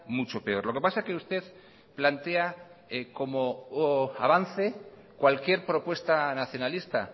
mucho peor lo que pasa que usted plantea como avance cualquier propuesta nacionalista